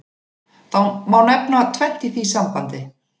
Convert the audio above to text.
Það má nefna tvennt í því sambandi.